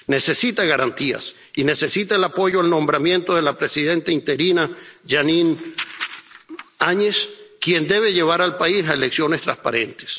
Necesita garantías y necesita el apoyo al nombramiento de la presidenta interina, Jeanine Áñez, quien debe llevar al país a elecciones transparentes.